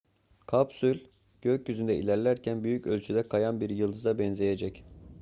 kapsül gökyüzünde ilerlerken büyük ölçüde kayan bir yıldıza benzeyecek